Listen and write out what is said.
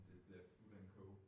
Det det der food and co